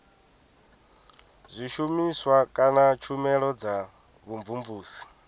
zwishumiswa kana tshumelo dza vhumvumvusi